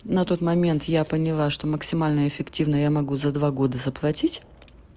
на тот момент я поняла что максимально эффективно я могу за два года заплатить